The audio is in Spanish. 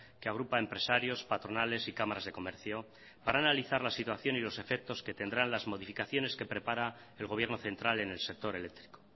que agrupa empresarios patronales y cámaras de comercio para analizar la situación y los efectos que tendrán las modificaciones que prepara el gobierno central en el sector eléctrico